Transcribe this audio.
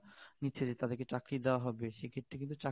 নিচ্ছে যে তাদের কে চাকরি দেওয়া হবে সে ক্ষেত্রে কিন্তু চাকরি